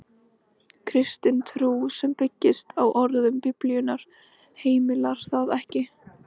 Kristin trú, sem byggist á orðum Biblíunnar, heimilar það ekki.